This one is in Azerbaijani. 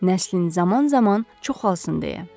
Nəslin zaman-zaman çoxalsın deyə.